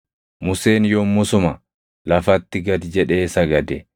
Museen yommuu suma lafatti gad jedhee sagade.